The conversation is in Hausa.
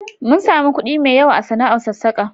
Mun sami kuɗi mai yawa a sana'ar sassaka.